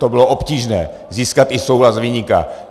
to bylo obtížné, získat i souhlas viníka.